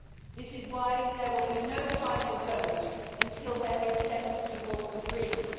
That is why there will be no final vote until there is demonstrable agreement.